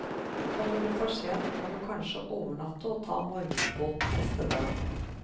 Kommer du for sent må du kanskje overnatte og ta morgenbåten neste dag.